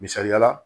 Misaliyala